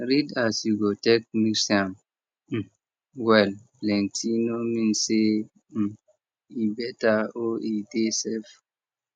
read as you go take mix am um well plenty no mean say um e better or e dey safe